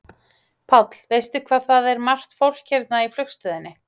Páll: Veistu hvað það er margt fólk hérna í flugstöðinni?